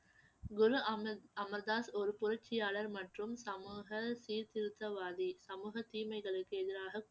குரு அமர்~ அமர்தாஸ் ஒரு புரட்சியாளர் மற்றும் சமூக சீர்திருத்தவாதி சமூக தீமைகளுக்கு எதிராக